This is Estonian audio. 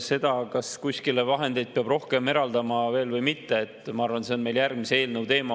See, kas kuskile peab vahendeid rohkem eraldama või mitte, ma arvan, et see on meil järgmise eelnõu teema.